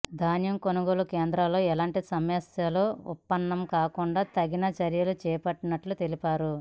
ధాన్యం కొనుగోలు కేంద్రాల్లో ఎలాంటి సమస్యలు ఉత్పన్నం కాకుండా తగిన చర్యలు చేపట్టినట్లు తెలిపారు